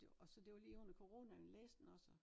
Og så det var lige under coronaen jeg læse den også